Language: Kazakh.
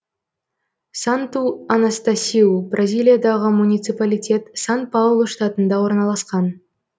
санту анастасиу бразилиядағы муниципалитет сан паулу штатында орналасқан